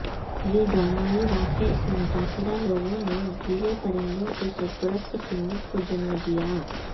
یہ ڈرامائی واقعہ سے متاثرہ لوگوں نے گیلے پرندوں کے سرپرست سنت کو جنم دیا